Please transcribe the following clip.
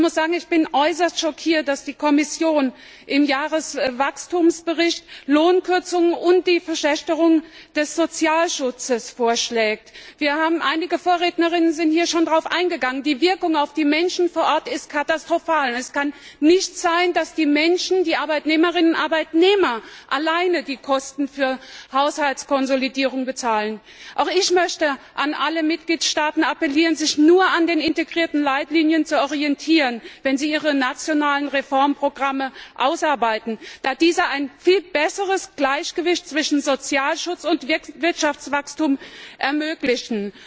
Ich bin äußerst schockiert, dass die Kommission im Jahreswachstumsbericht Lohnkürzungen und die Verschlechterung des Sozialschutzes vorschlägt. Einige Vorredner sind schon darauf eingegangen Die Wirkung auf die Menschen vor Ort ist katastrophal. Es kann nicht sein, dass die Menschen, die Arbeitnehmerinnen und Arbeitnehmer, allein die Kosten für die Haushaltskonsolidierung bezahlen. Auch ich möchte an alle Mitgliedstaaten appellieren, sich nur an den integrierten Leitlinien zu orientieren, wenn sie ihre nationalen Reformprogramme ausarbeiten, da diese ein viel besseres Gleichgewicht zwischen Sozialschutz und Wirtschaftswachstum ermöglichen.